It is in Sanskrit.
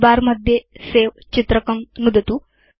टूलबार मध्ये सवे चित्रकं नुदतु